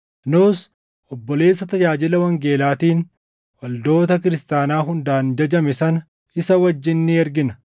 Nus obboleessa tajaajila wangeelaatiin waldoota kiristaanaa hundaan jajame sana isa wajjin ni ergina.